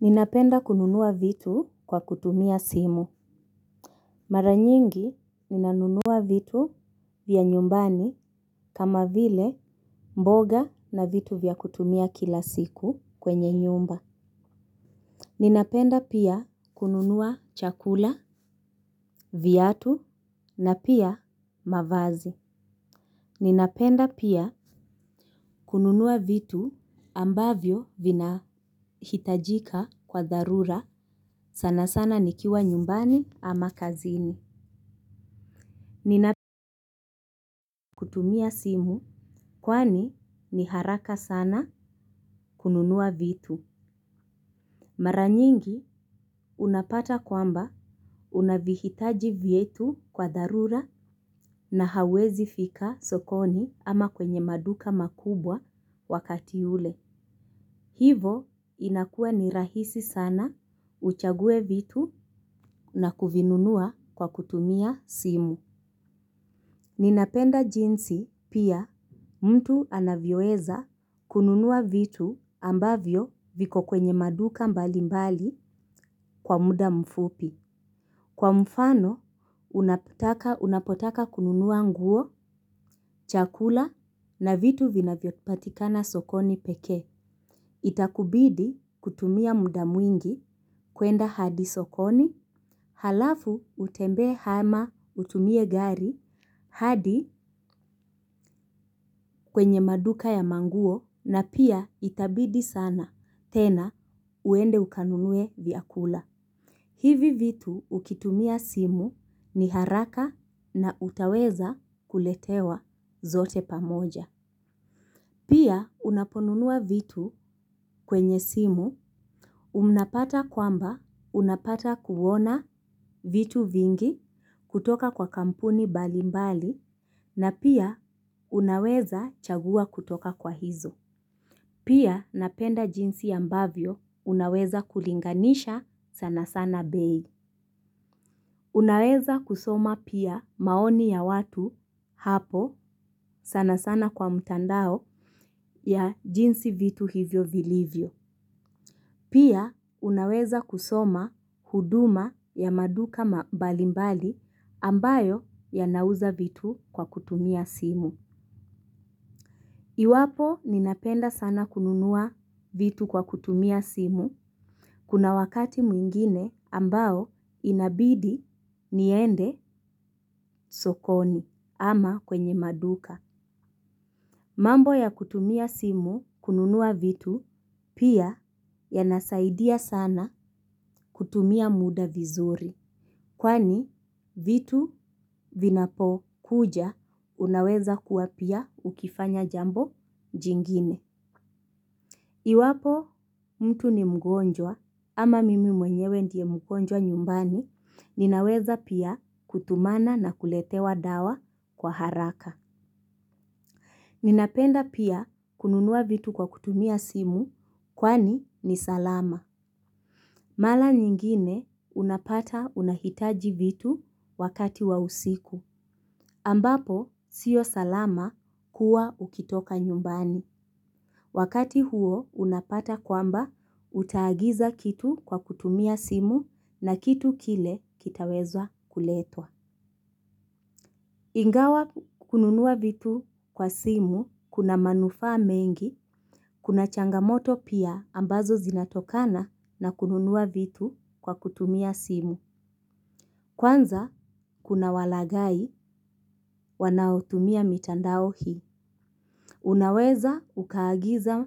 Ninapenda kununua vitu kwa kutumia simu. Mara nyingi ninanunua vitu vya nyumbani kama vile mboga na vitu vya kutumia kila siku kwenye nyumba. Ninapenda pia kununua chakula, viatu na pia mavazi. Ninapenda pia kununua vitu ambavyo vinahitajika kwa dharura sana sana nikiwa nyumbani ama kazini. Ninapenda kutumia simu kwani ni haraka sana kununua vitu. Mara nyingi unapata kwamba unavihitaji vietu kwa dharura na hauwezi fika sokoni ama kwenye maduka makubwa wakati ule. Hivo inakua ni rahisi sana uchague vitu na kuvinunua kwa kutumia simu. Ninapenda jinsi pia mtu anavyoweza kununua vitu ambavyo viko kwenye maduka mbalimbali kwa muda mfupi. Kwa mfano, unapotaka kununua nguo, chakula na vitu vinavyo patikana sokoni pekee. Itakubidi kutumia mda mwingi kwenda hadi sokoni. Halafu utembee hama utumie gari hadi kwenye maduka ya manguo na pia itabidi sana, tena uende ukanunue vyakula. Hivi vitu ukitumia simu ni haraka na utaweza kuletewa zote pamoja. Pia unaponunua vitu kwenye simu, unapata kwamba unapata kuwona vitu vingi kutoka kwa kampuni balimbali na pia unaweza chagua kutoka kwa hizo. Pia napenda jinsi ambavyo unaweza kulinganisha sana sana bei. Unaweza kusoma pia maoni ya watu hapo sana sana kwa mtandao ya jinsi vitu hivyo vilivyo. Pia unaweza kusoma huduma ya maduka mbalimbali ambayo yanauza vitu kwa kutumia simu. Iwapo ninapenda sana kununua vitu kwa kutumia simu kuna wakati mwingine ambao inabidi niende sokoni ama kwenye maduka. Mambo ya kutumia simu kununua vitu pia yanasaidia sana kutumia muda vizuri. Kwani vitu vinapokuja unaweza kuwa pia ukifanya jambo jingine. Iwapo mtu ni mgonjwa ama mimi mwenyewe ndie mgonjwa nyumbani ninaweza pia kutumana na kuletewa dawa kwa haraka. Ninapenda pia kununua vitu kwa kutumia simu kwani ni salama. Mala nyingine unapata unahitaji vitu wakati wa usiku. Ambapo sio salama kuwa ukitoka nyumbani. Wakati huo unapata kwamba utaagiza kitu kwa kutumia simu na kitu kile kitaweza kuletwa. Ingawa kununua vitu kwa simu, kuna manufaa mengi, kuna changamoto pia ambazo zinatokana na kununua vitu kwa kutumia simu. Kwanza, kuna walagai wanaotumia mitandao hii. Unaweza ukaagiza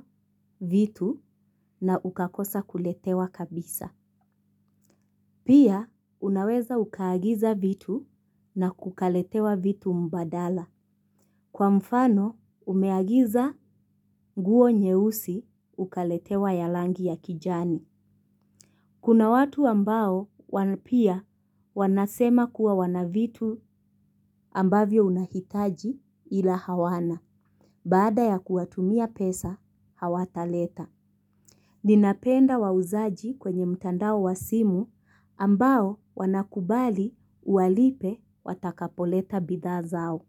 vitu na ukakosa kuletewa kabisa. Pia, unaweza ukaagiza vitu na kukaletewa vitu mbadala. Kwa mfano, umeagiza nguo nyeusi ukaletewa ya langi ya kijani. Kuna watu ambao wana pia wanasema kuwa wana vitu ambavyo unahitaji ila hawana, baada ya kuwatumia pesa hawataleta. Ninapenda wauzaji kwenye mtandao wa simu ambao wanakubali uwalipe watakapoleta bidhaa zao.